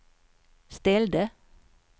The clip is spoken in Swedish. ställde